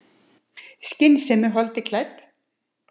Skynsemin holdi klædd.